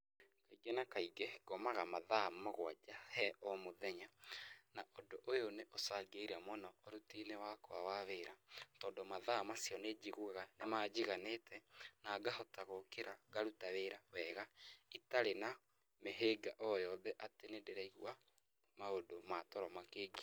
Kaingĩ na kaingĩ ngomaga mathaa mũgwanja he omũthenya na ũndũ ũyũ nĩ ũcangĩire mũno ũrutĩinĩ wakwa wa wĩra tondũ mathaa macio nĩnjiguaga nĩmajiganĩte na ngahota gũkĩra ngaruta wĩra wega itarĩ na mĩhĩnga oyothe atĩ nĩndĩraigua maũndũ ma toro mangĩngia.